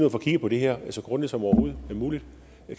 at få kigget på det her så grundigt som overhovedet muligt